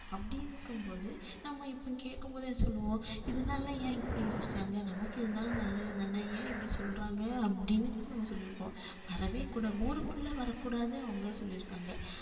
அப்படி இருக்கும்போது நம்ம இப்ப கேட்கும்போதே என்ன சொல்லுவோம் இதனால ஏன் இப்படி யோசிச்சாங்க நமக்கு இதனால நல்லதுதானே ஏன் இப்படி சொல்றாங்க அப்படின்னு நம்ம சொல்லி இருப்போம் வரவே கூடா~ ஊருக்குள்ள வரக்கூடாது அவங்க சொல்லி இருக்காங்க